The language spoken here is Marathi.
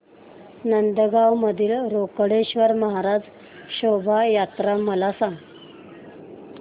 नांदगाव मधील रोकडेश्वर महाराज शोभा यात्रा मला सांग